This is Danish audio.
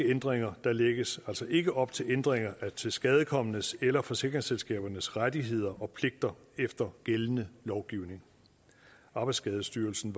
ændringer der lægges altså ikke op til ændringer af tilskadekomnes eller forsikringsselskabernes rettigheder og pligter efter gældende lovgivning arbejdsskadestyrelsen